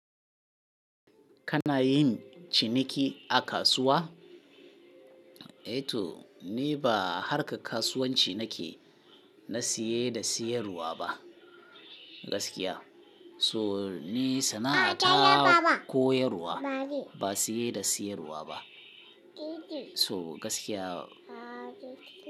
Kana yin ciniki a kasuwa? Eh to ni ba harka kasuwanci nake na saye da sayarwa ba gaskiya. So ni sana'a ta koyarwa ba siye da siyarwa ba. So gaskiya.